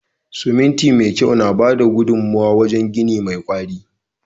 Siminti me kyau na bada gudunmawa wajen gini mai kwari.